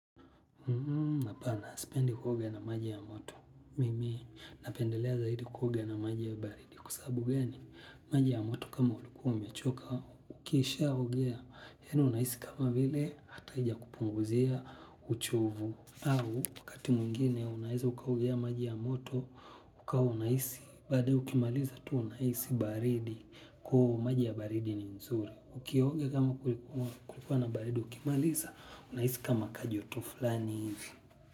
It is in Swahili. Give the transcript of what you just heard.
Apana sipendi kuoga na maji ya moto. Mimi, napendelea zaidi kuoge na maji ya baridi. Kwa sababu gani, maji ya moto kama ulikuwa umechoka, ukiishaogea. Yaani unaisi kama vile hata haijakupunguzia uchovu. Au, wakati mwingine unaeza ukaogea maji ya moto, ukawa unaisi. Baadae ukimaliza tu unahisi baridi kuu maji ya baridi ni nzuri. Ukioga kama kulikuwa na baridi, ukimalisa, unahisi kama kajoto flani ivi.